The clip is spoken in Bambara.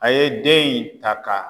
A ye den in ta ka